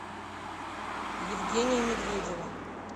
евгения медведева